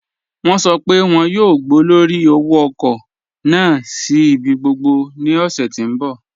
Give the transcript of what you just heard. Wọn sọ́ pé wọn yóò gbọ̀lọ́rí òwò-ọ̀kọ̀ naà sí ibi gbogbo ní òṣè tí n bọ̀.